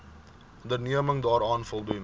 onderneming daaraan voldoen